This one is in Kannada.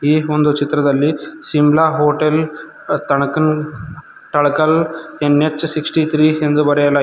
ಈ ಒಂದು ಚಿತ್ರದಲ್ಲಿ ಶಿಮ್ಲಾ ಹೋಟೆಲ್ ತಾಣಕಲ್ ತಳಕಲ್ ಎನ್_ಎಚ್ ಅರವತ್ತು ಮೂರು ಎಂದು ಬರೆಯಲಾಗಿದೆ.